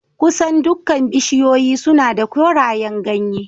Kusan dukkan bishiyoyi suna da korayen ganye